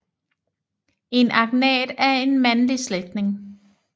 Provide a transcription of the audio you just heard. En agnat er en mandlig slægtning